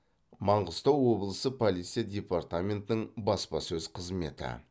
маңғыстау облысы полиция департаментінің баспасөз қызметі